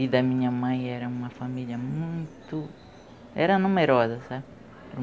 E da minha mãe era uma família muito... era numerosa, sabe?